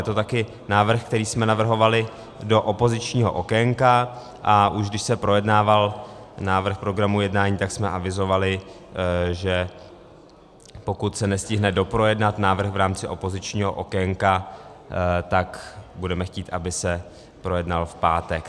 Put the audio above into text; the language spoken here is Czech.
Je to taky návrh, který jsme navrhovali do opozičního okénka, a už když se projednával návrh programu jednání, tak jsme avizovali, že pokud se nestihne doprojednat návrh v rámci opozičního okénka, tak budeme chtít, aby se projednal v pátek.